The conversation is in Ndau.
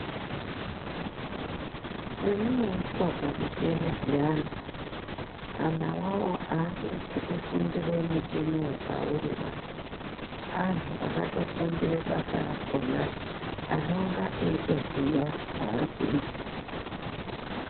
Pemunoiswa pamichini zviyani ,anhu awawo aasisi kufundire mucheniwo pauriba, anhu akatofundire basa rakhona, anonga eitoziya zvaari kuita.